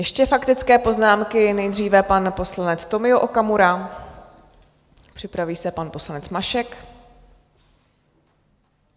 Ještě faktické poznámky, nejdříve pan poslanec Tomio Okamura, připraví se pan poslanec Mašek.